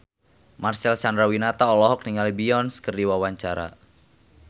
Marcel Chandrawinata olohok ningali Beyonce keur diwawancara